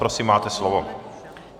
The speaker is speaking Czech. Prosím máte slovo.